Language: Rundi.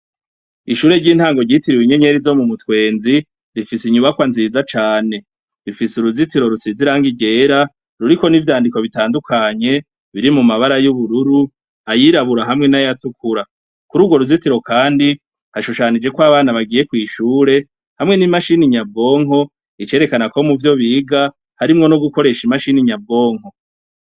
Ishure ryintango ryitiriwe inyenyeri zo mumutwenzi rifise inyubakwa nziza cane rifise uruzitiro rusize irangi ryera ruriko nivyandiko bitandukanye biri mumabara yubururu ayirabura hamwe nayatukura kurugo ruzitiro kandi hashushanijeko abana bagiye kwishure hamwe nimashine nyabwonko icerekana ko muvyo biga harimwo nogukoresha imashini nyabwonko